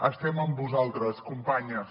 estem amb vosaltres companyes